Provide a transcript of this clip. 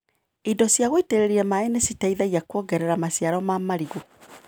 Indo cia gũitĩrĩria maĩ nĩciteithagia kuongerera maciaro ma marigũ.